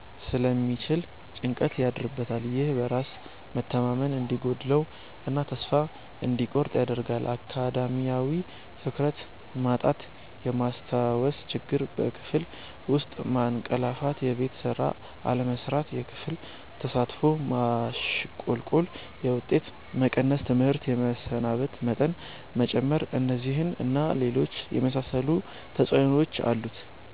ስለሚችል ጭንቀት ያድርበታል። ይህ በራስ መተማመን እንዲጎድለው እና ተስፋ እንዲቆርጥ ያደርጋል። አካዳሚያዊ:-ትኩረት ማጣት፣ የማስታወስ ችግር፣ በክፍል ውስጥ ማንቀላፋትየቤት ስራ አለመስራት፣ የክፍል ተሳትፎ ማሽቆልቆል፣ የውጤት መቀነስ፣ ትምህርት የመሰናበት መጠን መጨመር። እነዚህን እና ሌሎች የመሳሰሉ ተጽዕኖዎች አሉት።